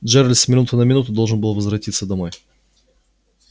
джералд с минуты на минуту должен был возвратиться домой